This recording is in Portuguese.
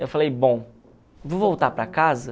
Eu falei, bom, vou voltar para casa?